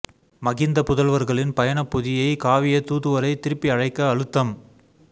மகிந்த புதல்வர்களின் பயணப் பொதியைக் காவிய தூதுவரை திருப்பி அழைக்க அழுத்தம்